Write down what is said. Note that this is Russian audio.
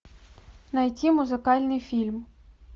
найти музыкальный фильм